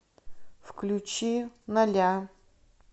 включи ноля